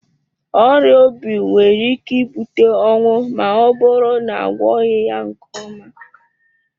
Ọrịa obi nwere ike ibute ọnwụ ma ọ bụrụ na agwọghị ya nke ọma.